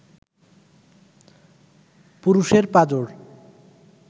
পুরুষের পাঁজর